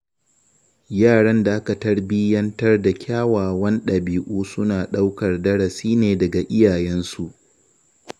Yaran da aka tarbiyyantar da kyawawan ɗabi’u suna ɗaukar darasi ne daga iyayensu.